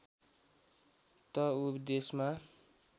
त ऊ देशमा